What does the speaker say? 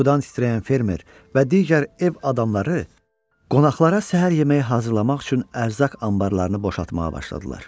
Qorxudan titrəyən fermer və digər ev adamları qonaqlara səhər yeməyi hazırlamaq üçün ərzaq anbarlarını boşaltmağa başladılar.